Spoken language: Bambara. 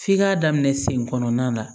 F'i k'a daminɛ sen kɔnɔnana